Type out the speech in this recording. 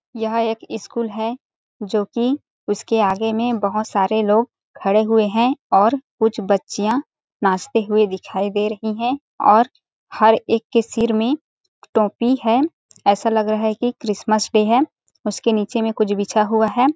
यह एक स्कूल है जो की उसके आगे में बहोत सारे लोग खड़े हुए हैं और कुछ बच्चियाँ नाचते हुए दिखाई दे रहीं हैं और हर एक के सिर में टोपी है ऐसा लग रहा की क्रिसमस-डे है उसके नीचे में कुछ बिछा हुआ है ।